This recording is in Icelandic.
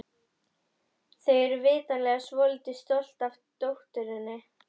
Þau eru vitanlega svolítið stolt af dótturinni.